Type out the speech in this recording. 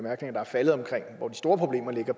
der er faldet om hvor de store problemer ligger